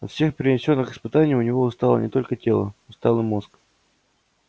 от всех перенесённых испытаний у него устало не только тело устал и мозг